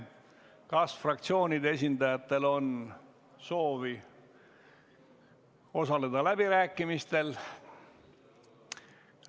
Kas fraktsioonide esindajatel on soovi osaleda läbirääkimistel?